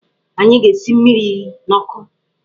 Anyị ga-esi mmiri n'ọkụ.